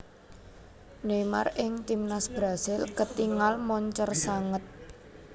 Neymar ing Timnas Brasil ketingal moncer sanget